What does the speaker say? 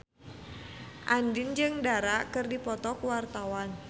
Andien jeung Dara keur dipoto ku wartawan